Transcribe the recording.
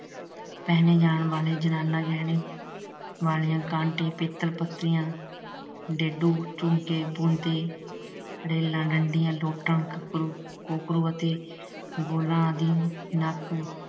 ਪਹਿਣੇ ਜਾਣ ਵਾਲੇ ਜਨਾਨਾ ਗਹਿਣੇ ਬਾਲੀਆਂ, ਕਾਂਟੇ, ਪਿੱਤਲ ਪੱਤੀਆਂ, ਡੇਡੂ, ਝੂਮਕੇ, ਬੁਨਤੇ, ਰੇਲਾਂ, ਡੰਡੀਆਂ, ਗੋਲਾਂ ਆਦਿ। ਨੱਕ